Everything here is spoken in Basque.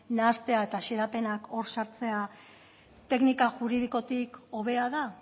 nahastea eta xedapenak hor sartzea teknika juridikotik hobea da